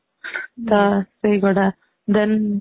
ତ ସେଇଗୁଡା then